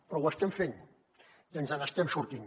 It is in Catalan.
però ho estem fent i ens n’estem sortint